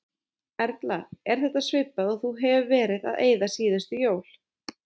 Erla: Er þetta svipað og þú hefur verið að eyða síðustu jól?